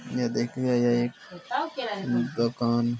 यह देखिये यह एक दुकान --